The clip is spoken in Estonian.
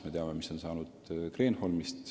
Me teame, mis on saanud Kreenholmist.